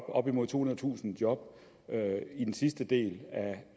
op imod tohundredetusind job i den sidste del